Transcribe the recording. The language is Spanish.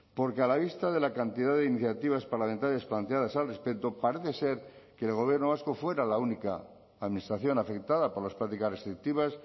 porque a la vista de la cantidad de iniciativas parlamentarias planteadas al respecto parece ser que el gobierno vasco fuera la única administración afectada por las prácticas restrictivas